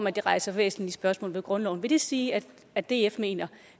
at det rejser væsentlige spørgsmål til grundloven vil det sige at at df mener